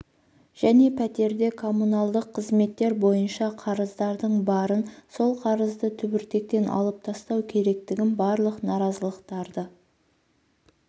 және пәтерде коммуналдық қызметтер бойынша қарыздардың барын сол қарызды түбіртектен алып тастау керектігін барлық наразылықтарды